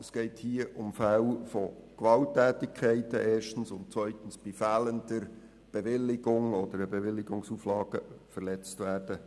Es geht hier erstens um Veranstaltungen mit Gewalttätigkeiten und zweitens um Veranstaltungen, bei denen die Bewilligung fehlt oder Bewilligungsauflagen verletzt werden.